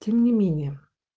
тем не менее